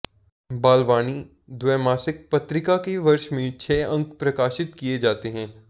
बालवाणी द्वैमासिक पत्रिका के वर्ष में छः अंक प्रकाशित किये जाते हैं